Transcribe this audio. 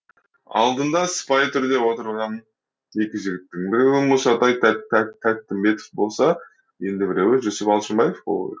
алдында сыпайы түрде отырған екі жігіттің біреуі мұсатай тәттімбетов болса енді біреуі жүсіп алшынбаев болуы керек